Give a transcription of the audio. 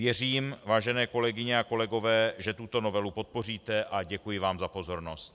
Věřím, vážené kolegyně a kolegové, že tuto novelu podpoříte, a děkuji vám za pozornost.